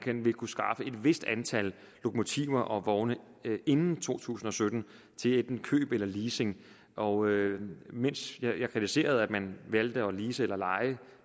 vil kunne skaffe et vist antal lokomotiver og vogne inden to tusind og sytten til enten køb eller leasing og mens jeg kritiserede at man valgte at lease eller leje